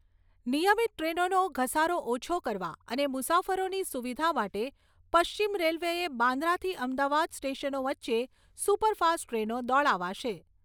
નિયમિત ટ્રેનોનો ઘસારો ઓછો કરવા અને મુસાફરોની સુવિધા માટે પશ્ચિમ રેલ્વેએ બાંદ્રાથી અમદાવાદ સ્ટેશનો વચ્ચે સુપરફાસ્ટ ટ્રેનો દોડાવાશે.